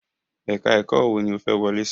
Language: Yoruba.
Ẹ̀ka ẹ̀kọ́ wo ni ó fẹ́ wọlé sí?